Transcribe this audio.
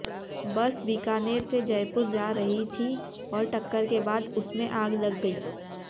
बस बीकानेर से जयपुर जा रही थी और टक्कर के बाद उसमें आग लग गयी